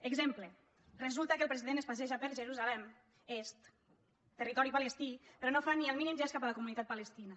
exemple resulta que el president es passeja per jerusalem est territori palestí però no fa ni el mínim gest cap a la comunitat palestina